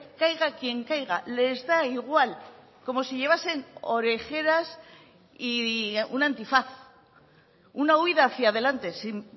caiga quien caiga les da igual como si llevasen orejeras y un antifaz una huída hacia adelante sin